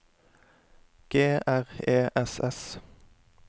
G R E S S